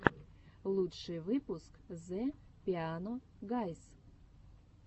лучший выпуск зе пиано гайз